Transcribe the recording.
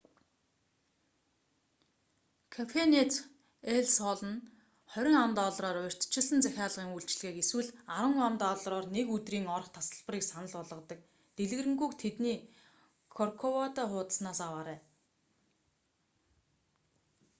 кафенэт эл сол нь 30 ам.доллараар урьдчилсан захилагын үйлчилгээг эсвэл 10 ам.доллараар нэг өдрийн орох тасалбарыг санал болгодог; дэлгэрэнгүйг тэдний корковадо хуудаснаас аваарай